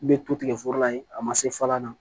N bɛ to tigɛ foro la yen a ma se fɔlan na